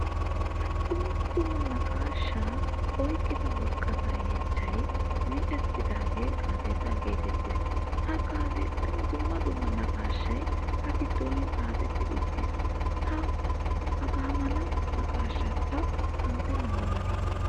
Dumma dumma naqqaashaa oyqqida worqqata yeechchay miccettidage gaazexxa geetettees. Ha gaazexxan dumma dumma naqqaashay a giddon xaafettidi uttiis. La hagaamala naqqaashaa ta awude nabbabbane?